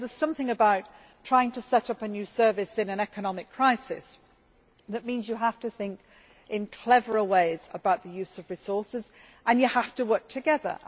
There is something about trying to set up a new service in an economic crisis that means you have to think in cleverer ways about the use of resources and you have to work together.